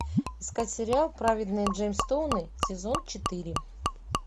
искать сериал праведные джемстоуны сезон четыре